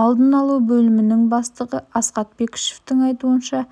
алдын алу бөлімінің бастығы асхат бәкішевтің айтуынша